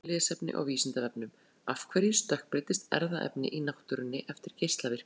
Frekara lesefni á Vísindavefnum: Af hverju stökkbreytist erfðaefni í náttúrunni eftir geislavirkni?